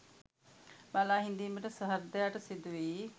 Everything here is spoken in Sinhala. බලා හිඳීමට සහෘදයාට සිදුවෙයි.